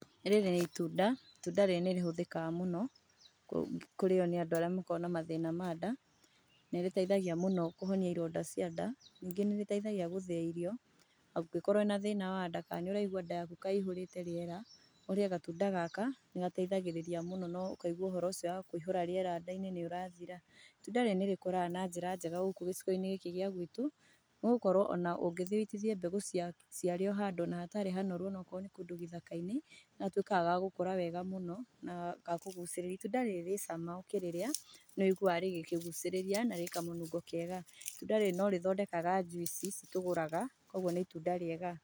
Rĩrĩ nĩ itunda, itunda rĩrĩ nĩ rĩhũthĩkaga mũno kũrĩo nĩ andũ arĩa makoragwo na mathĩna ma nda, nĩrĩteithagia mũno kũhonia ironda cia nda, ningĩ nĩ rĩteithagia gũthĩa irio, ũngĩkorwo wĩna thĩna wa nda kana nĩũraigua nda yaku ta iyũrĩte rĩera, ũrĩe gatunda gaka, nĩgateithagĩrĩria mũno no ũkaigua ũhoro ũcio wa kũihũra rĩera nda-inĩ nĩ ũrathira. Itunda rĩrĩ nĩ rĩkũraga na njĩra njega gũkũ gĩcigo-inĩ gĩkĩ gĩa gwitũ no ũkorwo ona ũngĩthiĩ ũitithie mbegũ cia rĩo handũ ona hatarĩ hanoru onokorwo nĩ kũndũ gĩthaka-inĩ, nĩgatuĩkaga ga gũkũra wega mũno na ka kũgucĩrĩria. Itunda rĩrĩ rĩ cama ũkĩrĩrĩa nĩ ũiguaga rĩkĩkũgucĩrĩria na rĩ kamũnungo kega. Itunda rĩrĩ no rĩthondekaga njuici ici tũgũraga koguo nĩ itunda rĩega.